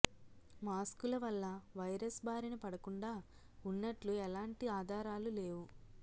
మాస్కుల వల్ల వైరస్ బారిన పడకుండా ఉన్నట్లు ఎలాంటి ఆధారాలు లేవు